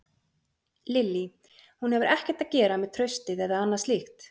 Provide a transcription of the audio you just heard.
Lillý: Hún hefur ekkert að gera með traustið eða annað slíkt?